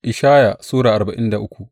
Ishaya Sura arba'in da uku